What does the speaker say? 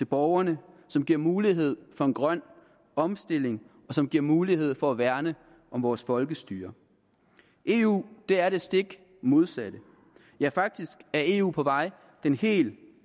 borgerne som giver mulighed for en grøn omstilling og som giver mulighed for at værne om vores folkestyre eu er det stik modsatte ja faktisk er eu på vej i den helt